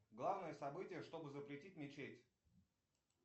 главное событие чтобы запретить мечеть